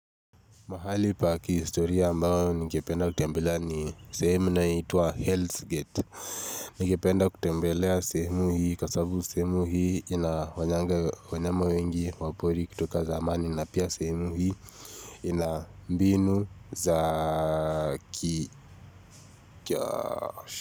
Mahali pa kihistoria ambao ningependa kutembelea ni sehemu inaituwa Hells Gate. Ningependa kutembelea sehemu hii kwa sabu semu hii inafanyanga wanyama wengi wapori kutoka zamani na pia sehemu hii ina mbinu za.